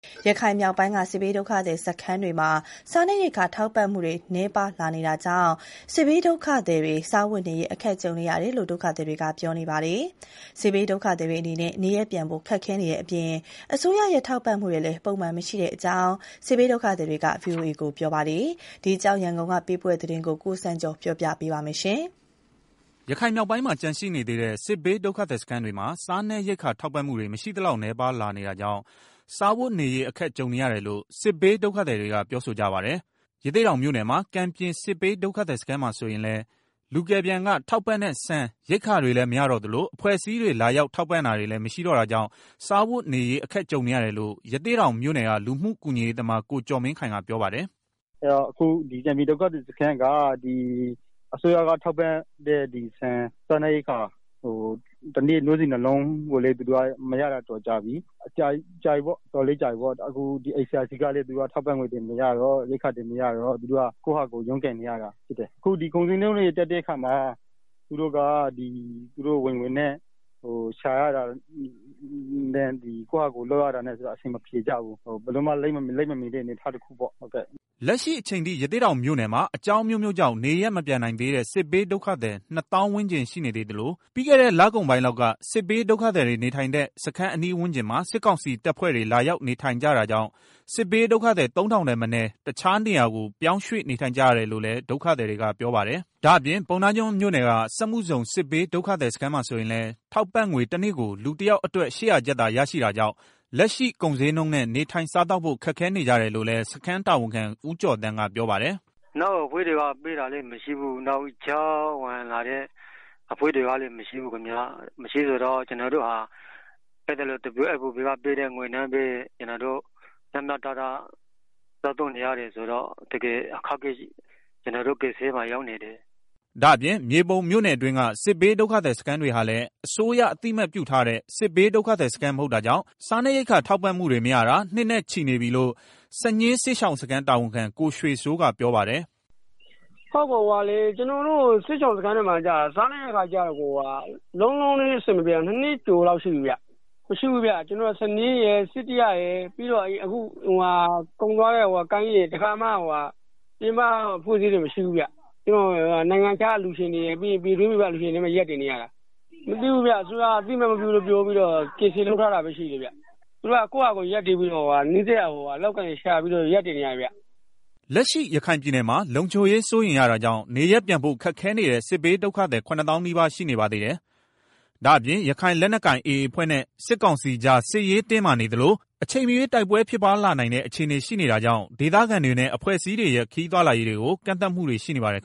ရခိုင်မြောက်ပိုင်းက စစ်ဘေးဒုက္ခသည်စခန်းတွေမှာ စားနပ်ရိက္ခာ ထောက်ပံ့မှုတွေ နည်းပါးလာနေတာကြောင့် စစ်ဘေးဒုက္ခသည်တွေ စားဝတ်နေရေး အခက်ကြုံနေရတယ်လို့ ဒုက္ခသည်တွေက ပြောပါတယ်။ စစ်ဘေးဒုက္ခသည်တွေအနေနဲ့ နေရပ်ပြန်ဖို့ခက်ခဲနေတဲ့အပြင် အစိုးရရဲ့ ထောက်ပံ့မှုတွေလည်း ပုံမှန်မရှိဘူးလို့ စစ်ဘေးဒုက္ခသည်တွေက ပြောဆိုကြပါတယ်။ ဒီအကြောင်း ရန်ကုန်ကပေးပို့တဲ့သတင်း ကိုစံကျော်က တင်ပြပေးထားပါတယ်။ ရခိုင်မြောက်ပိုင်းမှာ ကျန်သေးတဲ့ စစ်ဘေးဒုက္ခသည်စခန်းတွေမှာ စားနပ်ရိက္ခာ ထောက်ပံ့မှုတွေ မရှိသလောက်နည်းပါးလာနေတာကြောင့် စားဝတ်နေရေး အခက်ကြုံ နေရတယ်လို့ စစ်ဘေးဒုက္ခသည်တွေက ပြောဆိုကြပါတယ်။ ရသေ့တောင်မြို့နယ်၊ ကန်ပြင် စစ်ဘေးဒုက္ခသည်စခန်းမှာဆိုရင်လည်း လူကယ်ပြန်က ထောက်ပံ့တဲ့ ဆန်ရိက္ခာတွေလည်းမရတော့သလို အဖွဲ့အစည်းတွေ လာရောက် ထောက်ပံ့တာတွေလည်း မရှိတော့တာကြောင့် စားဝတ်နေရေး အခက်ကြုံနေရတယ်လို့ ရသေ့တောင်မြို့နယ် လူမှုကူညီရေးသမား ကိုကျော်မင်းခိုင်ကပြောပါတယ်။ “ ကန်ပြင်ဒုက္ခသည်စခန်းမှာဆိုရင်လည်း အစိုးရက ထောက်ပံ့တဲ့ တနေ့ ဆန် နို့ဆီဗူး နှစ်လုံးကိုလည်း မရတာကြာပြီ။ နောက်ပိုင်း ICRC ကလည်း စားနပ်ရိက္ခာ ထောက်ပံ့တာတွေမရတော့ ကိုယ့်ဖာသာကိုယ် ရုန်းကန်နေကြရတယ်။ အခုက ကုန်ဈေးနှုန်းတွေလည်း တက်နေတာဆိုတော့ သူတို့ အပြင်မှာ ထွက်ရှာတဲ့ ငွေလောက်နဲ့ အဆင်မပြေကြဘူး။ အတော်ခက်ခဲနေကြတယ်။” လက်ရှိအချိန်ထိ ရသေ့တောင်မြို့နယ်မှာ အကြောင်းအမျိုးမျိုးကြောင့် နေရပ်မပြန်နိုင်သေးတဲ့ စစ်ဘေးဒုက္ခသည် ၂ သောင်းဝန်းကျင်ရှိနေသေးသလို ပြီးခဲ့တဲ့ လကုန်ပိုင်းလောက်က စစ်ဘေးဒုက္ခသည်တွေ နေထိုင်တဲ့ စခန်းအနီးဝန်းကျင်မှာ စစ်ကောင်စီ တပ်ဖွဲ့တွေ လာရောက်နေ ထိုင်နေကြ တာကြောင့် စစ်ဘေးဒုသည် ၃,၀၀၀ ထက်မနည်း တခြားနေရာတွေကို ပြောင်းရွှေ့နေထိုင်နေကြရတယ်လို့လည်း ဒုက္ခသည်တွေ ကပြောပါ တယ်။ ဒါ့အပြင် ပုဏ္ဏားကျွန်းမြို့နယ်က စက်မှုဇုန် စစ်ဘေးဒုက္ခသည်စခန်းမှာဆိုရင်လည်း ထောက်ပံံ့ငွေ တနေ့ကို လူတယောက်အတွက် ၈၀၀ ကျပ်သာရရှိတာကြောင့် လက်ရှိကုန်ဈေးနှုန်းနဲ့ နေထိုင်စားသောက်ဖို့ ခက်ခဲနေကြတယ်လို့လည်း စခန်းတာဝန်ခံ ဦးကျော်သန်းကပြောပါတယ်။ “ နောက်အဖွဲ့အစည်းတွေကပေးတာလည်းမရှိဘူး။ ကြားဝင်လာတဲ့အဖွဲ့တွေကလည်း ပေးတာ မရှိဘူးဆိုတော့ ကျနော်တို့ဟာ WFP က ပေးတဲ့ ငွေနဲ့ပဲ လောက်ငှအောင် စားနေရတာဆိုတော့ ကျနော်တို့ တော်တော်အခက်အခဲဖြစ်နေပါတယ်။” ဒါ့အပြင် မြေပုံမြို့နယ်အတွင်းက စစ်ဘေးဒုက္ခသည်စခန်းတွေဟာလည်း အစိုးရ အသိအမှတ်ပြုထားတဲ့ စစ်ဘေးဒုက္ခသည်စခန်းမဟုတ်တာကြောင့် စားနပ်ရိက္ခာ ထောက်ပံ့မှုတွေ မရတာ နှစ်နဲ့ချီရှိနေပြီလို့ စညှင်းစစ်ရှောင်စခန်း တာဝန်ခံ ကိုရွှေစိုးကပြောပါတယ်။ “ကျနော်တို့ စစ်ရှောင်စခန်းမှာ စားနပ်ရိက္ခာ လုံးဝအဆင်မပြေတာ ၂ နှစ်ကျော်လောက်ရှိပြီဗျာ၊ ကျနော်တို့ စညှင်းရယ်၊စိတ္တရရယ်၊ ကုန်သွားတဲ့ ကိုင်းကြီးရယ် တခါမှ အဖွဲ့အစည်းတွေရဲ့ ထောက်ပံ့တာမရှိဘူး။ နိုင်ငံခြားက အလှူရှင်တွေရယ် ပြည်တွင်း အရပ်ဖက်အဖွဲ့တွေရဲ့ အလှူတွေနဲ့ ရပ်တည်နေရတာ၊ အစိုးရကလည်း အသိအမှတ်မပြုဘူး ပယ်ထားတယ်။ အဲတော့ ကိုယ့်ဖာသာကိုယ် ရှာကြံစားပြီးတော့ ရပ်တည်နေရတယ်။” လက်ရှိရခိုင်ပြည်နယ်မှာ လုံခြုံရေးစိုးရိမ်ရတာကြောင့် နေရပ်ပြန်ဖို့ ခက်ခဲနေတဲ့ စစ်ပြေးဒုက္ခသည် ၇ သောင်း နီးပါးရှိနေပါသေးတယ်။ ဒါပြင် ရခိုင်လက်နက်ကိုင် AA အဖွဲ့နဲ့စစ်ကောင်စီကြား စစ်ရေးတင်းမာနေသလို အချိန်မရွေးတိုက်ပွဲဖြစ်လာနိုင်တဲ့ အခြေအနေရှိနေတာကြောင့်ဒေသခံတွေနဲ့ အဖွဲ့အစည်းတွေရဲ့ ခရီးသွားလာရေးတွေကို ကန့်သတ်မှုတွေရှိနေပါတယ်